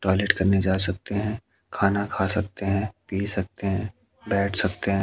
Toilet करने जा सकते हैं खाना खा सकते हैं पी सकते हैं बैठ सकते हैं।